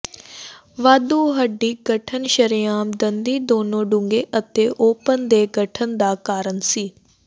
ਵਾਧੂ ਹੱਡੀ ਗਠਨ ਸ਼ਰੇਆਮ ਦੰਦੀ ਦੋਨੋ ਡੂੰਘੇ ਅਤੇ ਓਪਨ ਦੇ ਗਠਨ ਦਾ ਕਾਰਨ ਸੀ